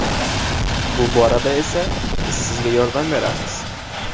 Bu borada esa biz sizga yordam beramiz.